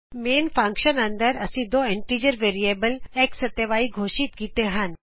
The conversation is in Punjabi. ਮੇਨ ਫੰਕਸ਼ਨ ਅੰਦਰ ਅਸੀਂ ਦੋ ਇੰਟੀਜ਼ਰ ਵੈਰੀਐਬਲ x ਅਤੇ y ਘੋਸ਼ਿਤ ਕੀਤੇ ਹਨ